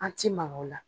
An ti ma o la